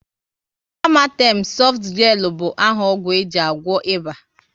Amatem softgelu bụ áhà ọgwụ eji agwọ ịba